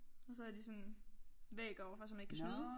Og så har de sådan en væg overfor så man ikke kan snyde